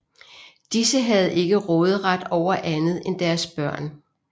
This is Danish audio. Disse havde ikke råderet over andet end deres børn